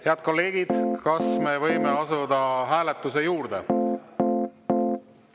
Head kolleegid, kas me võime asuda hääletuse juurde?